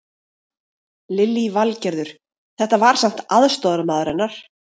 Lillý Valgerður: Þetta var samt aðstoðarmaður hennar?